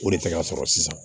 O de tɛ ka sɔrɔ sisan